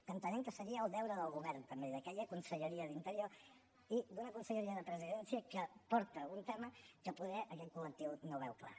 que entenem que seria el deure del govern també i d’aquella conselleria d’interior i d’una conselleria de presidència que porta un tema que poder aquest col·lectiu no veu clar